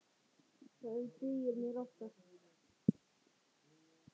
Það dugir mér oftast.